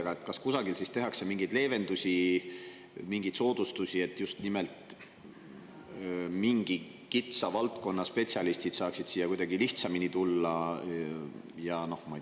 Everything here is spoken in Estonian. Aga kas kusagil siis tehakse mingeid leevendusi, mingeid soodustusi, et just nimelt mingi kitsa valdkonna spetsialistid saaksid siia kuidagi lihtsamini tulla?